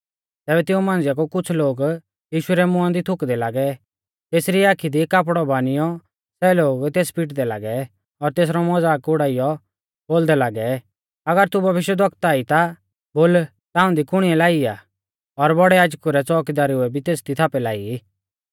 तैबै तिऊं मांझ़िआ कु कुछ़ लोग यीशु रै मुंआ दी थुकदै लागै तेसरी आखी दी कापड़ौ बानियौ सै लोग तेस पिटदै लागै और तेसरौ मज़ाक उड़ाइयौ बोलदै लागै अगर तू भविष्यवक्ता ई ता बोल ताऊं दी कुणिऐ लाई आ और बौड़ै याजकु रै च़ोउकीदारुऐ भी तेसदी थापै लाई